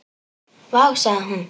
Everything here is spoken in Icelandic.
Vá, sagði hún.